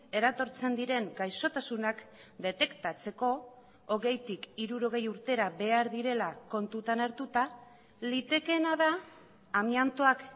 eratortzen diren gaixotasunak detektatzeko hogeitik hirurogei urtera behar direla kontutan hartuta litekeena da amiantoak